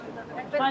Çox inanırdıq.